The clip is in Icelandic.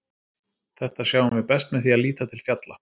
Þetta sjáum við best með því að líta til fjalla.